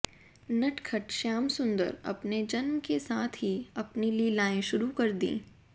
नटखट श्यामसुन्दर अपने जन्म के साथ ही अपनी लीलाएं शुरु कर दी